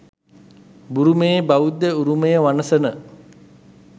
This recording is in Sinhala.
බුරුමයේ බෞද්ධ උරුමය වනසන